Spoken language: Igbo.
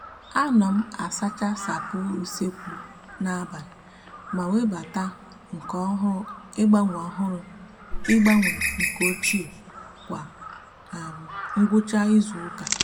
a no m asacha sapo usekwu na abali ma webata nke ohuru igbanwe ohuru igbanwe nke ochie kwa um ngwucha izuuka